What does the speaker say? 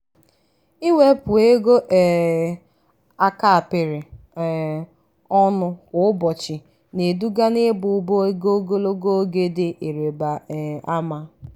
ịwepụ ego um a kapịrị um ọnụ kwa ụbọchị na-eduga n'ịba ụba ego ogologo oge dị ịrịba um ama